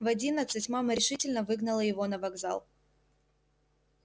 в одиннадцать мама решительно выгнала его на вокзал